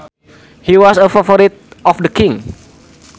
He was a favorite of the king